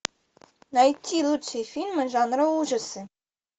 найти лучшие фильмы жанра ужасы